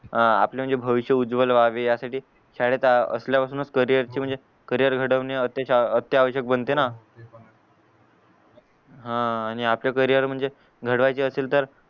आपला जे भविष्य उज्वल व्हावे ह्यासाठी शाळेत असल्या पासून कॅरियर ची म्हणजे कॅरियर घडवणे आत्यआवश्यक बनते ना हां आणिक आता कॅरियर म्हणजे घडवायचे असेल तर